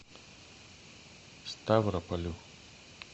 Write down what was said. ставрополю